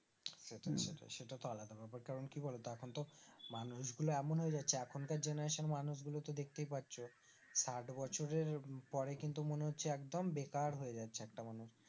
সেটাই হম সেটাই সেটা তো আলাদা ব্যাপার কারণ কি বলতো এখন তো মানুষগুলো এমন হয়েযাচ্ছে এখনকার generation মানুষগুলো দেখতেই পাচ্ছ সাইট বছরের পরে কিন্তু মনেহচ্ছে একদম বেকার হয়ে যাচ্ছে একটা মানুষ